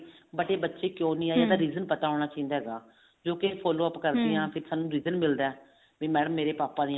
but ਇਹ ਬੱਚੇ ਕਿਉਂ ਨੀ ਆਏ reason ਪਤਾ ਹੋਣਾ ਚਾਹੀਦਾ ਹੈਗਾ ਕਿਉਂਕਿ ਕਰਦੇ ਹਾਂ ਸਾਨੂੰ reason ਮਿਲਦਾ ਵੀ madam ਮੇਰੇ ਪਾਪਾ ਨੀ